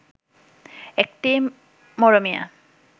একটি মরমিয়া